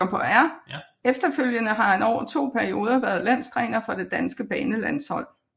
Efterfølgende har han over to perioder været landstræner for det danske banelandshold